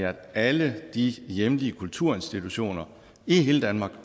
at alle de hjemlige kulturinstitutioner i hele danmark